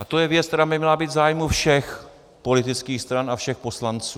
A to je věc, která by měla být v zájmu všech politických stran a všech poslanců.